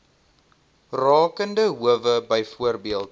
rakende howe byvoorbeeld